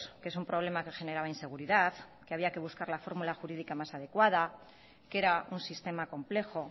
que es un problema que generaba inseguridad que había que buscar la fórmula jurídica más adecuada que era un sistema complejo